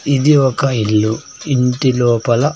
ఇది ఒక ఇల్లు ఇంటి లోపల.